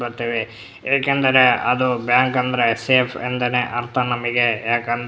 ಬತ್ತವೆ ಏಕೆಂದರೆ ಅದು ಬ್ಯಾಂಕ್ ಅಂದರೆ ಸೇಫ್ ಎಂದೆನೆ ಅರ್ಥ ನಮಗೆ ಯಾಕಂದ್ರೆ --